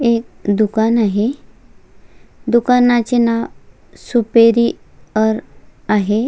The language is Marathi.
एक दुकान आहे दुकानाचे नाव सुपेरी अर आहे.